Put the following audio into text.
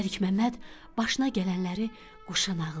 Məlik Məmməd başına gələnləri quşa nağıl elədi.